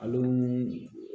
Ale ni